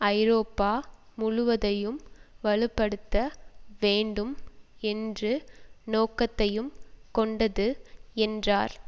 ஐரோப்பா முழுவதையும் வலுப்படுத்த வேண்டும் என்று நோக்கத்தையும் கொண்டது என்றார்